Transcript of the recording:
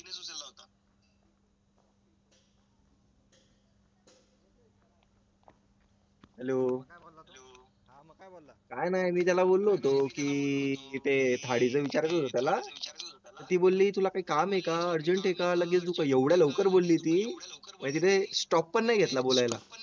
hello काय नाय मी त्याला बोललो होतो की की तिथे थाळीचे विचारायचं होतं त्याला ती बोलली तुला काय काम एका urgent एका लगेच तुमचं एवढ्या लवकर बोलली ती म्हणजे रे stop पण नाही घेतला बोलायला